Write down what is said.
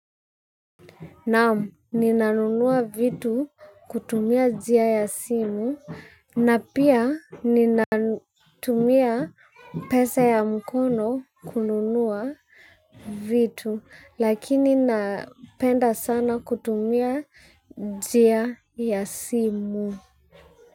Naam, ninanunua vitu, kutumia jia ya simu na pia, ninatumia pesa ya mkono, kununua vitu lakini napenda sana kutumia jia ya simu.